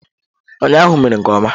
Ụnyaahụ ha mere nke ọma.